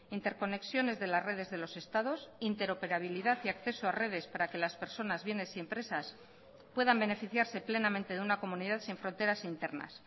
interconexiones de las redes de los estados interoperabilidad y acceso a redes para que las personas bienes y empresas puedan beneficiarse plenamente de una comunidad sin fronteras internas